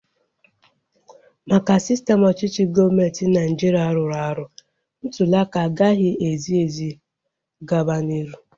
Maka sistem ọchịchị gọọmenti Naịjiria rụrụ arụ, ntuliaka agaghị ezi ezi gaba n'iru